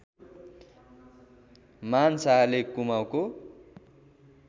मान शाहले कुमाउँको